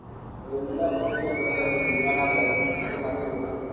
ũrĩmi no ũteithie kũrehe ũthii wa na mbere harĩ matũra